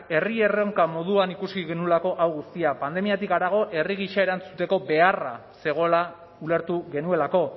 herri erronka moduan ikusi genuelako hau guztia pandemiatik harago herri gisa erantzuteko beharra zegoela ulertu genuelako